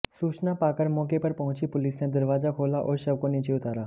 सूचना पाकर मौके पर पहुंची पुलिस ने दरवाजा खोला और शव को नीचे उतारा